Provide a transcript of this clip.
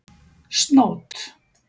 Snót